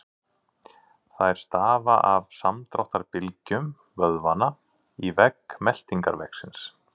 Þær stafa af samdráttarbylgjum vöðvanna í vegg meltingarvegarins.